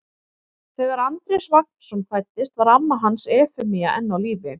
Þegar Andrés Vagnsson fæddist var amma hans Efemía enn á lífi.